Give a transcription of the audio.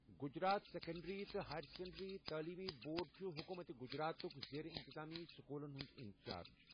Gujarat secondary تہٕ higher secondary تٔعلیمی board چھُ حکوٗمت گجراتُک زیر انتظامی سکوٗلَن ہُنٛد انچارج۔